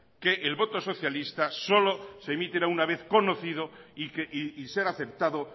que el voto socialista solo se emitirá una vez conocido y ser aceptado